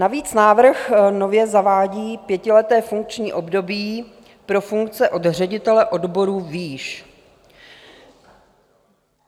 Navíc návrh nově zavádí pětileté funkční období pro funkce od ředitele odboru výš.